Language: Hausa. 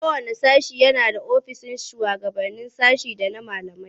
Kowanne sashe yana da ofisoshin shugaban sashe da na malamai.